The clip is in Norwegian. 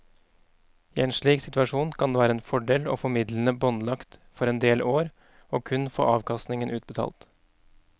I en slik situasjon kan det være en fordel å få midlene båndlagt for en del år og kun få avkastningen utbetalt.